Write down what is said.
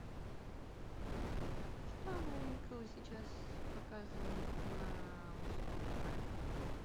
что новенького сейчас показывают на мужском канале